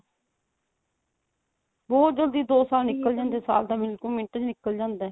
ਬਹੁਤ ਜੱਲਦੀ ਦੋ ਸਾਲ ਨਿਕਲ ਜਾਂਦੇ ਸਾਲ ਤਾਂ ਮਿੰਟ ਚ ਨਿੱਕਲ ਜਾਂਦਾ